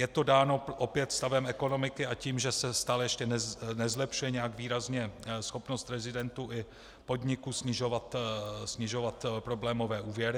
Je to dáno opět stavem ekonomiky a tím, že se stále ještě nezlepšuje nějak výrazně schopnost rezidentů i podniků snižovat problémové úvěry.